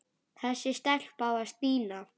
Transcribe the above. Þessi stelpa var Stína.